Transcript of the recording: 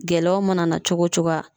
Gɛlɛyaw mana na cogo coga